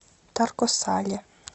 тарко сале